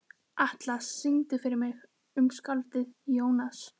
Atlas, syngdu fyrir mig „Um skáldið Jónas“.